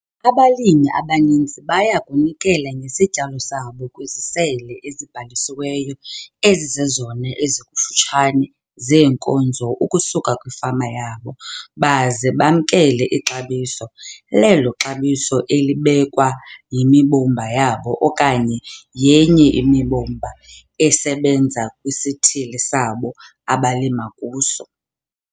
Abalimi abaninzi baya kunikela ngesityalo sabo kwizisele ezibhalisiweyo ezizezona ezikufutshane zeenkozo ukusuka kwifama yabo baze bamkele ixabiso 'lelo xabiso' elibekwa yimbumba yabo okanye yenye imibumba esebenza kwisithili sabo abalima kuso.